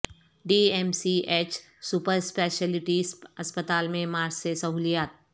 D M C H super specialty اسپتال میں March سے سہولیات